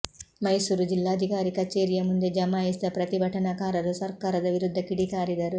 ಮೈಸೂರು ಜಿಲ್ಲಾಧಿಕಾರಿ ಕಚೇರಿಯ ಮುಂದೆ ಜಮಾಯಿಸಿದ ಪ್ರತಿಭಟನಾಕಾರರು ಸರ್ಕಾರದ ವಿರುದ್ಧ ಕಿಡಿಕಾರಿದರು